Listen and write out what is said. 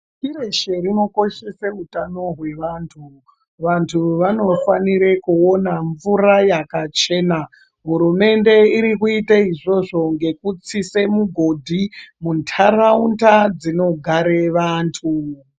Pashi reshe rinokoshese utano hwevantu, vantu vanofanire kuona mvura yakachena hurumende iri kuite izvozvo ngekutsise mugodhi muntaraunda dzinogare vantu.